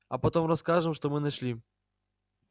а потом расскажем что мы нашли